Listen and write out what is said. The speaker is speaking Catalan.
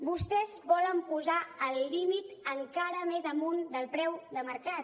vostès volen posar el límit encara més amunt del preu de mercat